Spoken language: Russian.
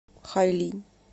хайлинь